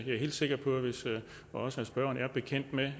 jeg helt sikker på at også spørgeren er bekendt med